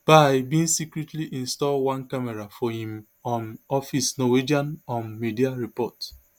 bye bin secretly install one camera for im um office norwegian um media report